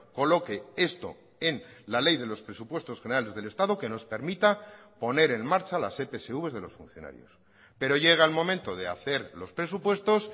coloque esto en la ley de los presupuestos generales del estado que nos permita poner en marcha las epsv de los funcionarios pero llega el momento de hacer los presupuestos